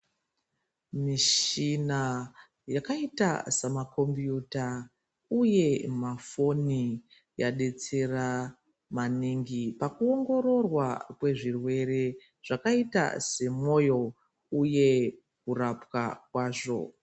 Michina yakaita samakombiyuta uye mafoni yadetsera maningi pakuongororwa kwezvirwere zvakaita semwoyo uye kurapwa kwazvo.